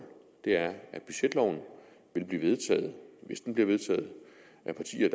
er at budgetloven vil blive vedtaget hvis den bliver vedtaget af partier